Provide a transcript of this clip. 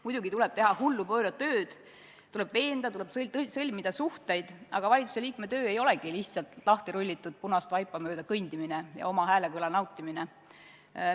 Muidugi tuleb teha hullupööra tööd, tuleb veenda, tuleb sõlmida suhteid, aga valitsuse liikme töö ei olegi lihtsalt mööda lahtirullitud punast vaipa kõndimine ja oma häälekõla nautimine.